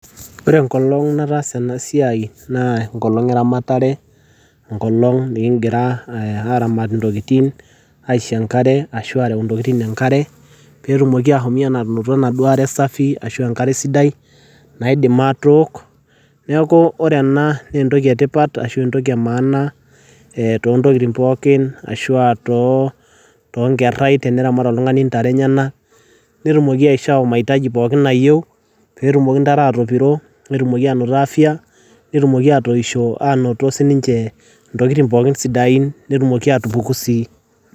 ore enkolong nataasa ena siai naa enkolong eramatare enkolong nikingira aramat intokitin aisho enkare ashu arew intokitin enkare petumoki ahomi anoto enaduo are safi ashu enkare sidai naidim atook neeku ore ena naa entoki etipat ashu entoki e maana tontokitin pookin ashua tonkerrai teneramat oltung'ani intare enyenak netumoki aishoo maitaji pookin nayieu petumoki intare atopiro netumoki anoto afya netumoki atoisho anoto sininche ntokitin pookin sidain netumoki atupuku sii.